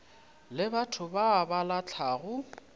le batho ba ba lahlago